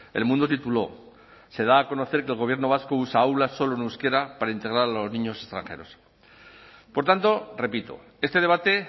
el mundo tituló se da a conocer que el gobierno vasco usa aulas solo en euskera para integrar a los niños extranjeros por tanto repito este debate